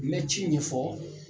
N bɛ ci ɲɛfɔ